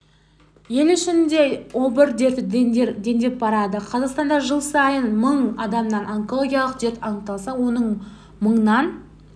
ел ішінде обыр дерті дендеп барады қазақстанда жыл сайын мың адамнан онкологиялық дерт анықталса оның мыңнан